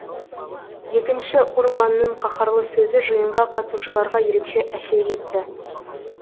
екінші урбанның қаһарлы сөзі жиынға қатысушыларға ерекше әсер етті